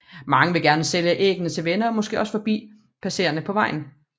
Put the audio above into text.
Mange vil gerne sælge af æggene til venner og måske også forbi passerende på vejen